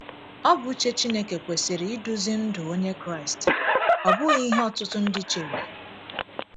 Ọ bụ uche Chineke kwesịrị iduzi ndụ Onye Kraịst, ọ bụghị ihe ọtụtụ ndị chere.